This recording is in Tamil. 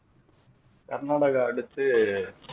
கர்நாடகா அடுத்து